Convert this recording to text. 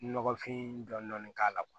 Nɔgɔfin dɔn k'a la